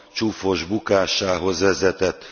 csúfos bukásához vezetett.